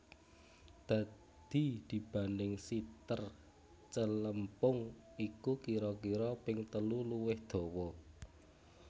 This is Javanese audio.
Dadi dibanding siter celempung iku kira kira ping telu luwih dawa